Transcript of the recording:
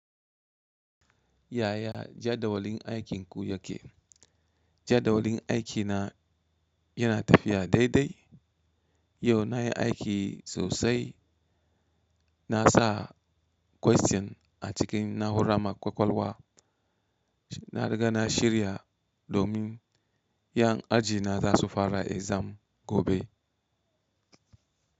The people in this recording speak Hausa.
Ya ya jadawalin aikinku yake? Jadawalin aikina yana tafiya daidai. Yau na yi aiki sosai. Na sa question a cikin na'ura mai ƙwaƙwalwa. Na riga na shirya domin 'yan aji na za su fara exam gobe.